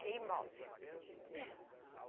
Que imóvel.